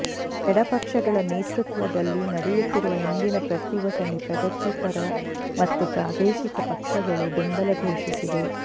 ಎಡಪಕ್ಷಗಳ ನೇತೃತ್ವದಲ್ಲಿ ನಡೆಯುತ್ತಿರುವ ಇಂದಿನ ಪ್ರತಿಭಟನೆಗೆ ಪ್ರಗತಿಪರ ಮತ್ತು ಪ್ರಾದೇಶಿಕ ಪಕ್ಷಗಳು ಬೆಂಬಲ ಘೋಷಿಸಿವೆ